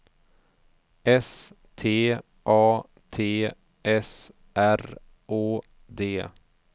S T A T S R Å D